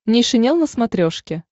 нейшенел на смотрешке